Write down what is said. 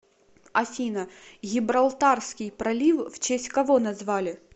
афина гибралтарский пролив в честь кого назвали